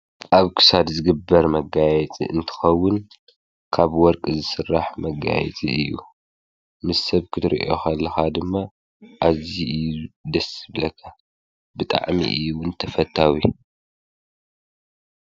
ኣብ ክሳድ ዝግበር መጋየፅ እንትኸውን ካብ ወርቂ ዝሥራሕ መጋየጢ እዩ ምስ ሰብ ክትርእዮኸልኻ ድማ ኣዝ ደስብለኸ ብጣዕሚ እዩውን ተፈታዊ።